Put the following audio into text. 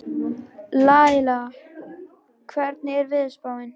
Laila, hvernig er veðurspáin?